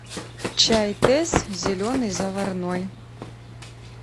чай тесс зеленый заварной